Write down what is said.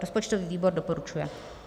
Rozpočtový výbor doporučuje.